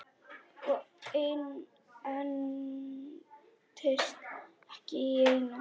Og entist ekki í neinu.